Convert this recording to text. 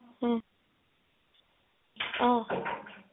উম অ